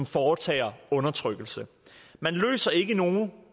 foretager undertrykkelsen man løser ikke nogen